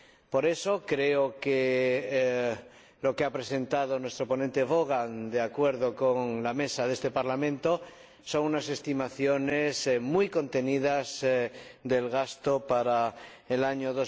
Por eso, creo que lo que ha presentado nuestro ponente, el señor Vaughan, de acuerdo con la Mesa de este Parlamento, son unas estimaciones muy contenidas del gasto para el año